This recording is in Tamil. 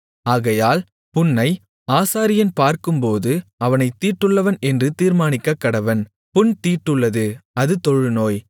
ஆகையால் புண்ணை ஆசாரியன் பார்க்கும்போது அவனைத் தீட்டுள்ளவன் என்று தீர்மானிக்கக்கடவன் புண் தீட்டுள்ளது அது தொழுநோய்